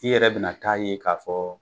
I yɛrɛ bina t'a ye k'a fɔ.